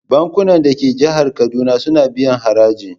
Bankunan da ke jihar Kaduna suna biyan haraji.